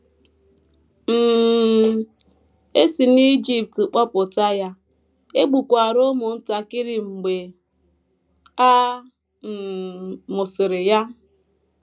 um E si n’Ijipt kpọpụta ya, e gbukwara ụmụntakịrị mgbe a um mụsịrị ya.